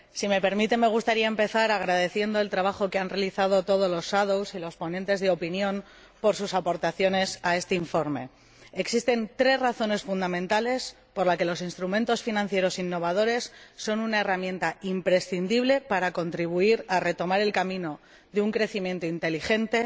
Si me permite, me gustaría empezar agradeciendo el trabajo que han realizado todos los ponentes alternativos y los ponentes de opinión con sus aportaciones a este informe. Existen tres razones fundamentales por las que los instrumentos financieros innovadores son una herramienta imprescindible para contribuir a retomar el camino de un crecimiento inteligente,